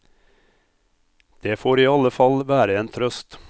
Det får i alle fall være en trøst.